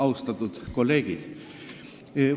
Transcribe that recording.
Austatud kolleegid!